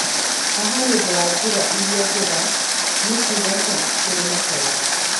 Haha nĩũndũ wa njĩra ĩrĩa njega nĩkuga cha kũrĩ makara